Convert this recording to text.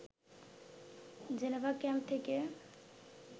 Geneva camp থেকে